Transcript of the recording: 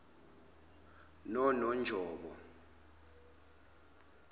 nononjobo